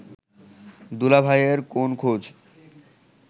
দুলাভাইয়ের কোন খোঁজ